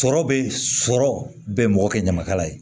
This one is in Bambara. Sɔrɔ bɛ sɔrɔ bɛn mɔgɔ kɛ ɲamakala ye